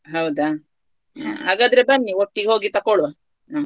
ಹೌದಾ ಹಾಗಾದ್ರೆ ಬನ್ನಿ ಒಟ್ಟಿಗೆ ಹೋಗಿ ತಗೋಳ್ವ ಹ.